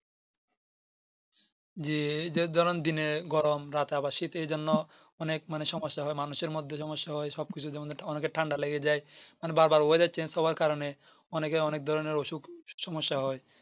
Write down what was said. জি যে ধরেন দিনে গরম রাতে আবার শীত এ যেন অনেক মানে সমস্যা হয় মানুষের মধ্যে সমস্যা হয় সবকিছু অনেকের যেমন ঠান্ডা লেগে যাই মানে বার বার oyedar Change হওয়ার কারণে অনেকে অনেক ধরণের অসুখ সমস্যা হয়